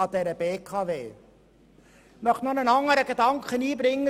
Ich möchte dazu noch einen weiteren Gedanken einbringen.